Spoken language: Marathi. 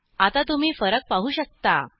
आता तुम्ही फरक पाहू शकता